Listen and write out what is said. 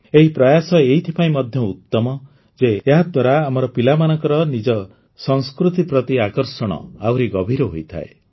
ଏହି ପ୍ରୟାସ ଏଥିପାଇଁ ମଧ୍ୟ ଉତ୍ତମ ଯେ ଏହାଦ୍ୱାରା ଆମର ପିଲାମାନଙ୍କର ନିଜ ସଂସ୍କୃତି ପ୍ରତି ଆକର୍ଷଣ ଆହୁରି ଗଭୀର ହୋଇଥାଏ